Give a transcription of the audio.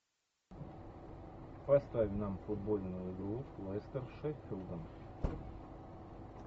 поставь нам футбольную игру лестер с шеффилдом